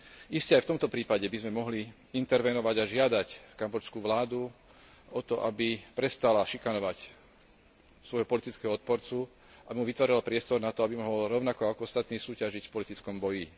Iste aj v tomto prípade by sme mohli intervenovať a žiadať kambodžskú vládu o to, aby prestala šikanovať svojho politického odporcu a vytvorila mu priestor na to, aby mohol rovnako ako ostatní súťažiť v politickom boji.